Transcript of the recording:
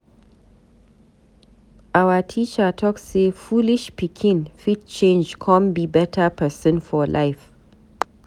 Our teacher talk say foolish pikin fit change come be better pesin for life.